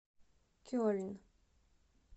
кельн